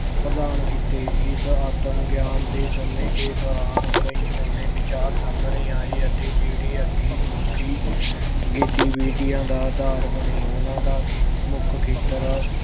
ਪ੍ਰਦਾਨ ਕੀਤੇ। ਇਸ ਆਤਮ ਗਿਆਨ ਦੇ ਸਮੇਂ ਦੇ ਦੌਰਾਨ ਕਈ ਨਵੇਂ ਵਿਚਾਰ ਸਾਹਮਣੇ ਆਏ ਅਤੇ ਜਿਹੜੇ ਅੱਗੇ ਮਨੁੱਖੀ ਗਤੀਵਿਧੀਆਂ ਦਾ ਆਦਾਰ ਬਣੇ ਉਹਨਾਂ ਦਾ ਖੇ ਅਹ ਮੁੱਖ ਖੇਤਰ